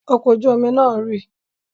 Ọkọ̀ ojú-omi náà rì?